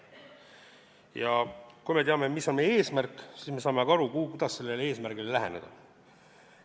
Ja kui me teame, mis on meie eesmärk, siis me saame ka aru, kuidas sellele eesmärgile läheneda.